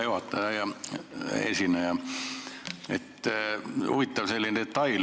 Hea juhataja ja hea esineja!